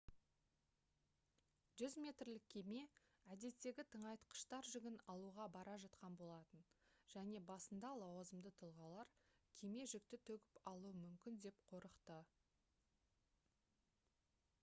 100 метрлік кеме әдеттегі тыңайтқыштар жүгін алуға бара жатқан болатын және басында лауазымды тұлғалар кеме жүкті төгіп алуы мүмкін деп қорықты